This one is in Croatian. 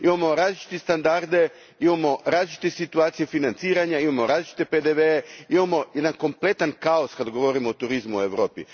Imamo različite standarde, imamo različite situacije financiranja, imamo različite PDV e, imamo jedan kompletan kaos kada govorimo o turizmu u Europi.